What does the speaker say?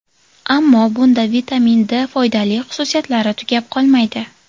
Ammo bunda vitamin D ning foydali xususiyatlari tugab qolmaydi.